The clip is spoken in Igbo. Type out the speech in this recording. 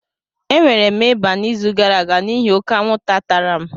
E nwere m ịba n'izu gara aga n'ihi oke anwụnta tara m.